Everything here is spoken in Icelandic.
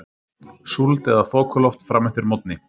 Súld eða þokuloft fram eftir morgni